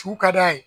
Su ka d'a ye